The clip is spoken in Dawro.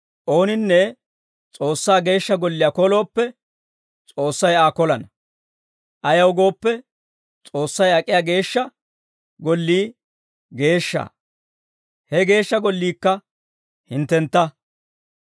Ooninne S'oossaa geeshsha golliyaa kolooppe, S'oossay Aa kolana. Ayaw gooppe, S'oossay ak'iyaa geeshsha gollii geeshsha; he geeshsha golliikka hinttentta.